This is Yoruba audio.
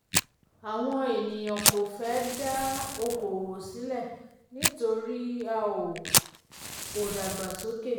um àwọn ènìyàn kò fẹ́ um dá oko òwò sílẹ̀ nítorí a um ò um ò dàgbàsókè.